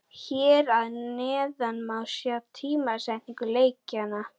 Hér að neðan má sjá tímasetningu leikjanna.